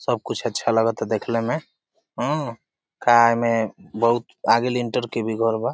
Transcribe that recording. सब कुछ अच्छा लागता देखले में ऊ का एमें बहुत आगे लिंटर के भी घर बा।